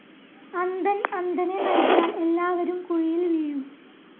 അന്ധൻ അന്ധനെ നയിച്ചാൽ എല്ലാവരും കുഴിയിൽ വീഴും.